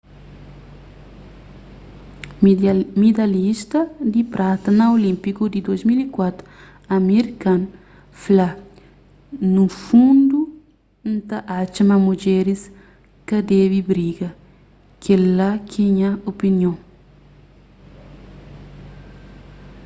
midalhista di prata na olínpiku di 2004 amir khan fla nu fundu n ta atxa ma mudjeris ka debe briga kel-la ke nha opinion